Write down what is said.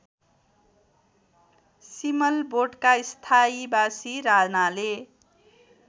सिमलबोटका स्थायीबासी रानाले